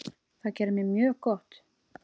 Það gerði mér mjög gott.